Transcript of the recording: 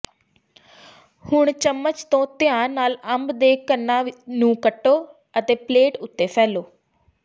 ਹੁਣ ਚਮਚ ਤੋਂ ਧਿਆਨ ਨਾਲ ਅੰਬ ਦੇ ਘਣਾਂ ਨੂੰ ਕੱਟੋ ਅਤੇ ਪਲੇਟ ਉੱਤੇ ਫੈਲੋ